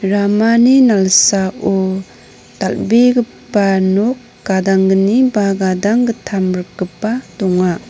ramani nalsao dal·begipa nok gadanggni ba gadanggittam rikgipa donga.